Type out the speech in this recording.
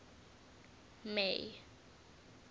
may